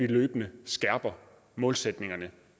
løbende skærper målsætningerne